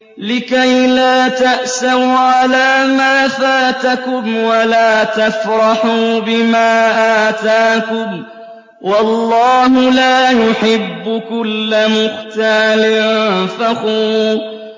لِّكَيْلَا تَأْسَوْا عَلَىٰ مَا فَاتَكُمْ وَلَا تَفْرَحُوا بِمَا آتَاكُمْ ۗ وَاللَّهُ لَا يُحِبُّ كُلَّ مُخْتَالٍ فَخُورٍ